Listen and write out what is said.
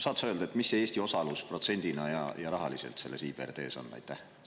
Saad sa öelda, mis see Eesti osalus protsendina ja rahaliselt selles IBRD‑s on?